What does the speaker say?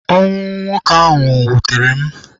Ọnwụ nwoke ahụ wụtere m.